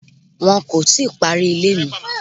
Wọ́n kò tíì parí ilé mi.